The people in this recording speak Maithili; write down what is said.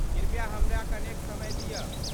कृपया हमरा कनेक समय दियऽ।